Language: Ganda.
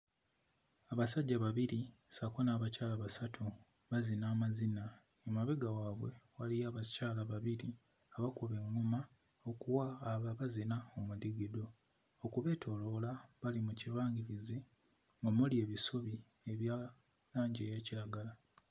Abasajja babiri ssaako n'abakyala basatu bazina amazina emabega waabwe waliyo abakyala babiri abakuba eᵑᵑoma okuwa abo abazina omudigido okubeetooloola bali mu kibangirizi omuli ebisubi ebya langi eya kiragala.